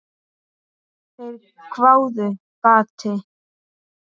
Þeir hváðu: Gati?